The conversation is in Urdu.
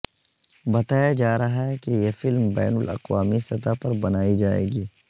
بتایا جا رہا ہے کہ یہ فلم بین الاقوامی سطح پر بنائی جائے گی